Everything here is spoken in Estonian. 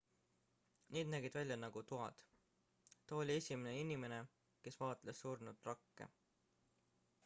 need nägid välja nagu toad ta oli esimene inimene kes vaatles surnud rakke